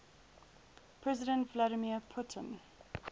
president vladimir putin